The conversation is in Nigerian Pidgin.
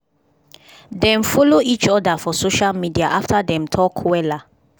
dem follow each oda for social media after dem talk wella